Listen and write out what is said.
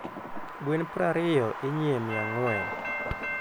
gwen prariyo inyie mia ngwen